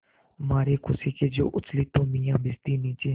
मारे खुशी के जो उछली तो मियाँ भिश्ती नीचे